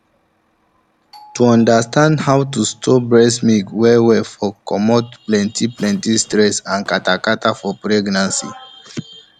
to understand how to store breast milk well well for comot plenty plenty stress and kata kata for pregnancy time